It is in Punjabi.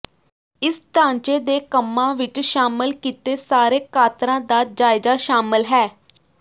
ਇਸ ਢਾਂਚੇ ਦੇ ਕੰਮਾਂ ਵਿਚ ਸ਼ਾਮਲ ਕੀਤੇ ਸਾਰੇ ਕਾਤਰਾਂ ਦਾ ਜਾਇਜ਼ਾ ਸ਼ਾਮਲ ਹੈ